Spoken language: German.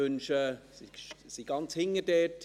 Sie sitzen ganz hinten.